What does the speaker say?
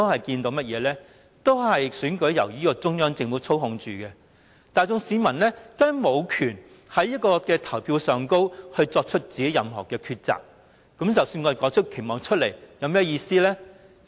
自第一屆起，選舉均由中央政府操控，市民大眾根本無權透過選票作出自己的抉擇，因此，即使我們說出了期望，又有甚麼意思呢？